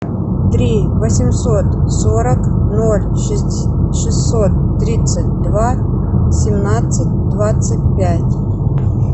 три восемьсот сорок ноль шестьсот тридцать два семнадцать двадцать пять